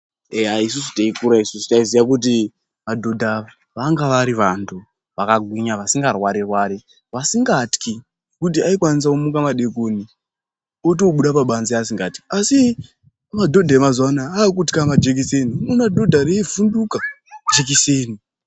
Eya isusu teikura isusu taiziya kuti madhodha vanga vari vantu vakagwinya vasingarwari-rwari vasingatyi. Kuti aikwanisa kumuka madekoni otobuda pabanze asingatyi. Asi madhodha emazuva anaya akutxa majekiseni unoona dhodha reivhunduka jekiseni.